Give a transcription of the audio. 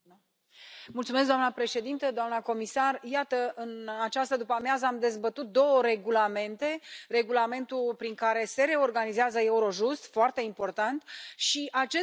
Doamna președintă, doamna comisar, iată, în această după-amiază am dezbătut două regulamente regulamentul prin care se reorganizează Eurojust, foarte important, și acest regulament.